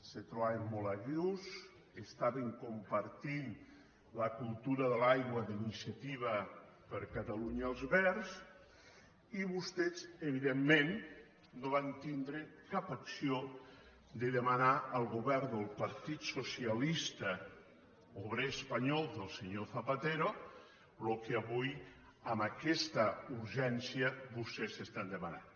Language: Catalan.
s’hi trobaven molt a gust compartien la cultura de l’aigua d’iniciativa per catalunya verds i vostès evidentment no van tindre cap acció de demanar al govern del partit socialista obrer espanyol del senyor zapatero el que avui amb aquesta urgència vostès demanen